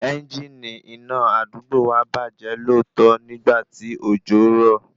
Ẹngini iná àdúgbò wa bàjẹ́ lóòtọ́ nígbà tí òjò rọ̀